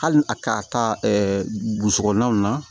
Hali a ka taa burusi kɔnɔnaw na